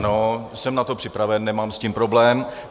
Ano, jsem na to připraven, nemám s tím problém.